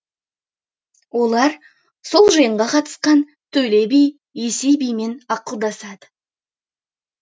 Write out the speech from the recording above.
олар сол жиынға қатысқан төле би есей бимен ақылдасады